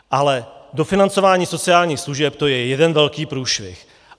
Ale dofinancování sociálních služeb, to je jeden velký průšvih.